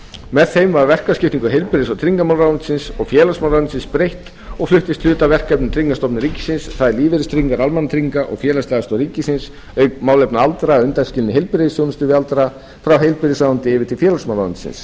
með þeim var verkaskiptingu heilbrigðis og tryggingamálaráðuneytisins og félagsmálaráðuneytisins breytt og fluttist hluti af verkefnum tryggingastofnunar ríkisins það er lífeyristryggingar almannatrygginga og félagsleg aðstoð ríkisins auk málefna aldraðra að undanskilinni heilbrigðisþjónustu við aldraða frá heilbrigðisráðuneyti yfir til félagsmálaráðuneytisins